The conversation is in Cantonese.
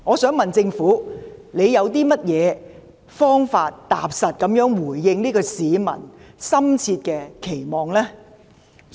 請問政府有何方法，踏實回應市民的深切期望呢？